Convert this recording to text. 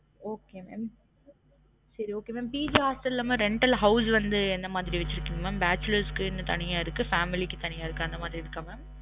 Okay mam சரி okay mam PG hostel ல mam rental ல house வந்து எந்த மாரி வச்சிருகிங்க bachelor க்கு தனியா இருக்கு family க்கு தனியா இருக்கு அந்த மாரி இருக்கா mam